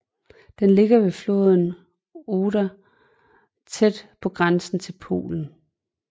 Den ligger ved floden Oder tæt på grænsen til Polen